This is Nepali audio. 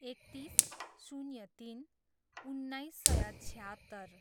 एकतिस, शून्य तिन, उन्नाइस सय छयात्तर